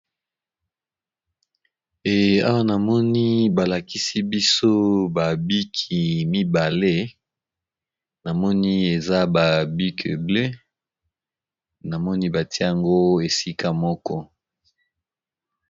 Ee awa namoni ba lakisi biso ba biki mibale, namoni eza ba bike bleu namoni batie yango esika moko.